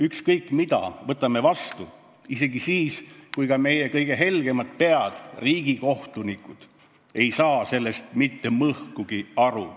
Me võtame vastu ükskõik mille ja seda isegi siis, kui ka meie kõige helgemad pead, riigikohtunikud, ei saa asjast mitte mõhkugi aru.